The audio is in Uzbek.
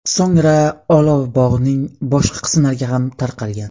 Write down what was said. So‘ngra olov bog‘ning boshqa qismlariga ham tarqalgan.